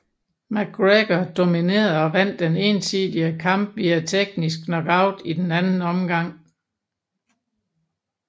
McGregor dominerede og vandt den ensidige kamp via teknisk knockout i den anden omgang